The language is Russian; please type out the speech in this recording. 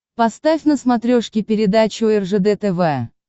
поставь на смотрешке передачу ржд тв